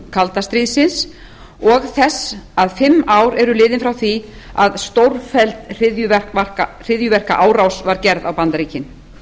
kalda stríðsins og þess að fimm ár eru liðin frá því að stórfelld hryðjuverkaárás var gerð á bandaríkin